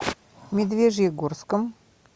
медвежьегорском